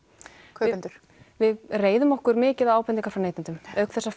kaupendur við reiðum okkur mikið á ábendingar frá neytendum auk þess sem